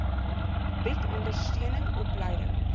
bied ondersteuning opleiding